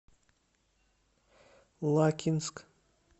лакинск